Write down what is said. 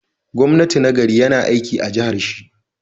Gwamna na gari yAna aiki a jahar shi